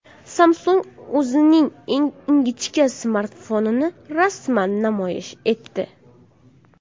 Samsung o‘zining eng ingichka smartfonini rasman namoyish etdi.